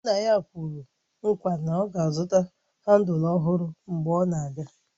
Nna ya kwere nkwa na ya ga-azụta handụl ọhụrụ mgbe ọ na-abịa